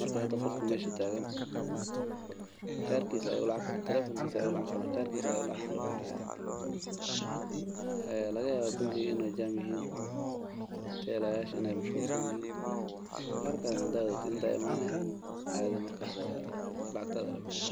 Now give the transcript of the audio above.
Marka hada qofka meshan taagan karkiisa ayu lacag kalabaxaya ee lagayaba bangiga in u jaam yihiin, teelayash in ay mashquulsan yihiin. Kaarkadha hada wadhatid in ta aya imanee caadhi markas lacagtadha aa labexe.